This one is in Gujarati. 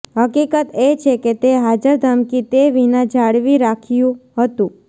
હકીકત એ છે કે તે હાજર ધમકી તે વિના જાળવી રાખ્યું હતું